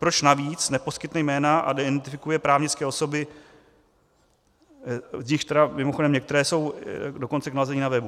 Proč navíc neposkytne jména a neidentifikuje právnické osoby, z nichž tedy mimochodem některé jsou dokonce k nalezení na webu?